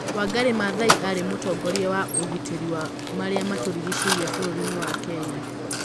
Wangari Maathai aarĩ mũtongoria wa ũgitĩri wa marĩa matũrigicĩirie bũrũri-inĩ wa Kenya.